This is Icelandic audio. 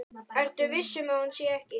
Ertu viss um að hún sé ekki.